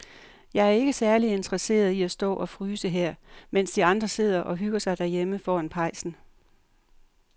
Jeg er ikke særlig interesseret i at stå og fryse her, mens de andre sidder og hygger sig derhjemme foran pejsen.